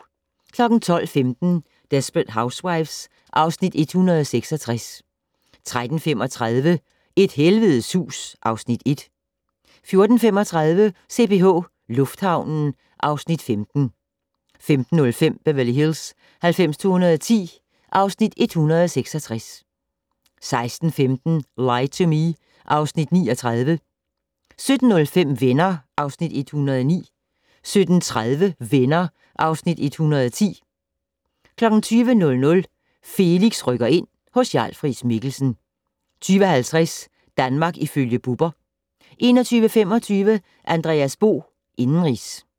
12:15: Desperate Housewives (Afs. 166) 13:35: Et helvedes hus (Afs. 1) 14:35: CPH Lufthavnen (Afs. 15) 15:05: Beverly Hills 90210 (Afs. 166) 16:15: Lie to Me (Afs. 39) 17:05: Venner (Afs. 109) 17:30: Venner (Afs. 110) 20:00: Felix rykker ind - hos Jarl Friis-Mikkelsen 20:50: Danmark ifølge Bubber 21:25: Andreas Bo - indenrigs